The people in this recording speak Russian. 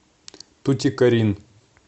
тутикорин